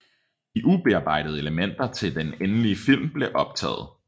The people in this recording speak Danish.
De ubearbejdede elementer til den endelige film bliver optaget